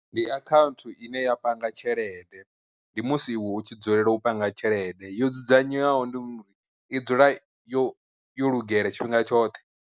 Ndi akhaunthu ine ya panga tshelede, ndi musi iwe u tshi dzulela u panga tshelede yo dzudzanywaho ndi uri i dzula yo yo lugela tshifhinga tshoṱhe.